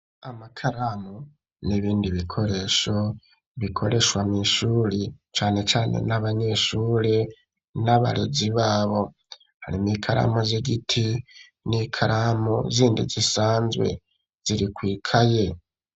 Amakaramu n'ibindi bikoresho bikoreshwa mw'ishuri cane cane n'abanyeshuri n'abarezi babo hari n'ikaramu z'igiti n'ikaramu zindi zisanzwe ziri kw'ikaye.